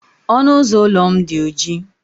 Ọnụ ụzọ ụlọ m dị oji.